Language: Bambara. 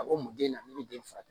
A ko mun den na ne bɛ den furakɛ